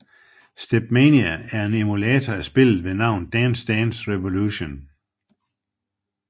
StepMania er en emulator af spillet ved navn Dance Dance Revolution